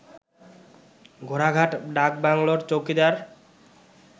ঘোড়াঘাট ডাকবাংলোর চৌকিদার